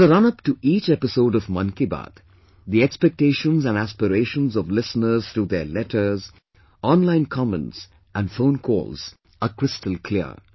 As a run up to each episode of 'Mann Ki Baat', the expectations & aspirations of listeners through their letters, online comments & phone calls are crystal clear